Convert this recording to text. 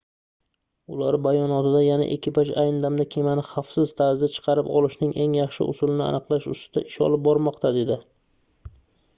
ular bayonotda yana ekipaj ayni damda kemani xavfsiz tarzda chiqarib olishning eng yaxshi usulini aniqlash ustida ish olib bormoqda dedi